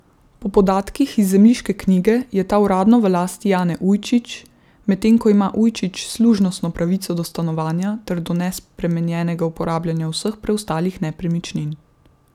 Po podatkih iz zemljiške knjige je ta uradno v lasti Jane Ujčič, medtem ko ima Ujčič služnostno pravico do stanovanja ter do nespremenjenega uporabljanja vseh preostalih nepremičnin.